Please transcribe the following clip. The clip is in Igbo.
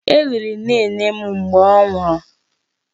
E liri nnenne m mgbe ọ nwụrụ.